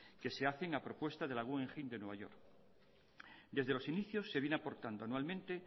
que se hacen a propuesta de la guggenheim de nueva york desde los inicios se viene aportando anualmente